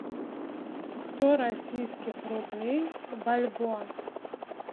сто российских рублей в бальбоа